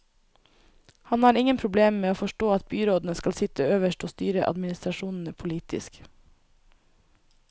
Han har ingen problemer med å forstå at byrådene skal sitte øverst og styre administrasjonene politisk.